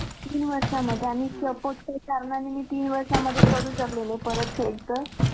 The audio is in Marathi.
तीन वर्षांमध्ये सपोर्टचे मदानी तीन वर्षां मध्ये करू शकता paid परत sir.